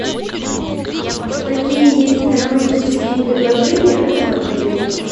какие есть романтические предложения в этом отеле